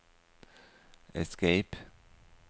escape